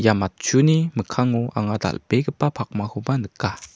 ia matchuni mikkango anga dal·begipa pakmakoba nika.